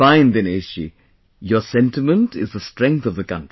Fine Dinesh ji...your sentiment is the strength of the country